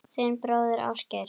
Þinn bróðir, Ásgeir.